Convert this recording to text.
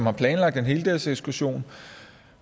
er planlagt en heldagsekskursion